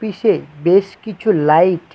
অফিসে বেশ কিছু লাইট ।